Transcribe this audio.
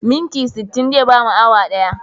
Minti sittin zai bamu awa ɗaya.